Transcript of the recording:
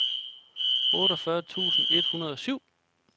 otteogfyrre tusind et hundrede og syv